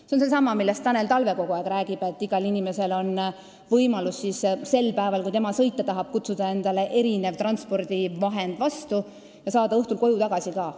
See on seesama, millest Tanel Talve kogu aeg on rääkinud: igal inimesel on võimalus sel päeval, kui ta sõita tahab, kutsuda endale transpordivahend vastu ja saada õhtul koju tagasi ka.